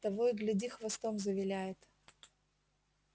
того и гляди хвостом завиляет